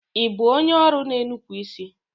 Ibu onye ọrụ n'enupu isi?